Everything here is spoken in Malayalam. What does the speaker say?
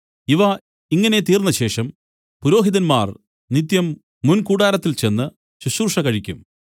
ഇവ ഇങ്ങനെ തീർന്നശേഷം പുരോഹിതന്മാർ നിത്യം മുൻകൂടാരത്തിൽ ചെന്ന് ശുശ്രൂഷ കഴിക്കും